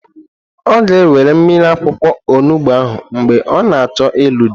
Ọ ga-ewere mmiri akwụkwọ onugbo ahụ mgbe ọ na-achọ ịlụ di.